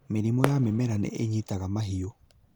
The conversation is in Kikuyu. Mĩrimũ ya mĩmera nĩ ĩnyitaga mahiũ